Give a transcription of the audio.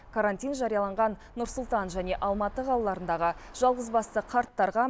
карантин жарияланған нұр сұлтан және алматы қалаларындағы жалғызбасты қарттарға